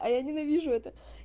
а я ненавижу это